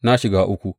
Na shiga uku!